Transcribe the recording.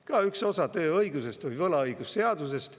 Ka üks osa tööõigusest, võlaõigusseadusest.